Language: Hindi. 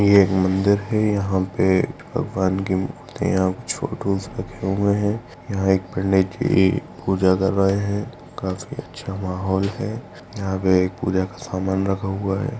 यह मंदिर है यहाँ पे भगवान के और फ़ोटोज़ रखे हुए हैं यहाँ एक पण्डितजी पूजा कर रहे हैं काफी अच्छा माहौल है यहाँ पे एक पूजा का सामान रखा हुआ है।